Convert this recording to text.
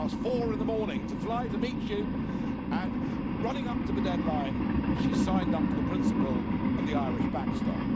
4.15 in the morning to fly to meet you, and in the run up to the deadline, she signed up to the principle of the Irish backstop.